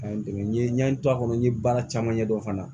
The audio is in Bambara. A ye n dɛmɛ n ye n to a kɔnɔ n ye baara caman ɲɛdɔn fana